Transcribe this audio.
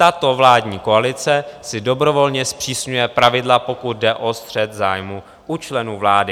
Tato vládní koalice si dobrovolně zpřísňuje pravidla, pokud jde o střet zájmů u členů vlády.